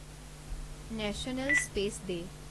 national space day